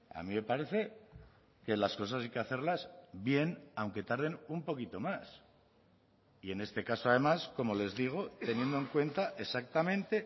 a mí me parece que las cosas hay que hacerlas bien aunque tarden un poquito más y en este caso además como les digo teniendo en cuenta exactamente